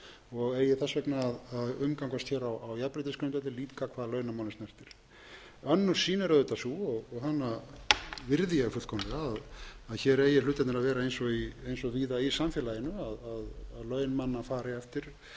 og eigi þess vegna að umgangast hér á jafnréttisgrundvelli líka hvað launamálin snertir önnur sýn er auðvitað sú og hana virði ég fullkomlega að hér eigi hlutirnir að vera eins og víða í samfélaginu að laun manna fari eftir